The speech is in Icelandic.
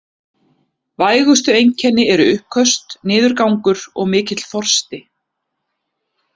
Vægustu einkenni eru uppköst, niðurgangur og mikill þorsti.